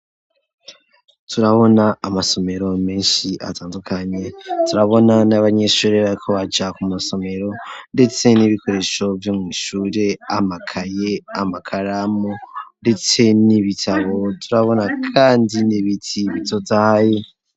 Turabona amasomero menshi atandukanye, turabona n'abanyeshuri bariko baja ku masomero ndetse n'ibikoresho vyo mwishure, amakaye, amakaramu, ndetse n'ibitabo turabona kandi n'ibiti bitotahaye.